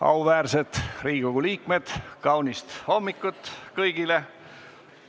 Auväärsed Riigikogu liikmed, kaunist hommikut kõigile!